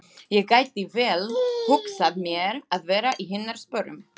Ég gæti vel hugsað mér að vera í hennar sporum.